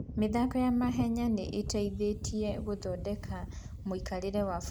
mĩthako ya mahenya nĩ ĩteithĩtie gũthondeka ũikarĩri wa bũrũri wa Kenya.